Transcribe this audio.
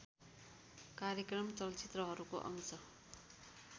कार्यक्रम चलचित्रहरूको अंश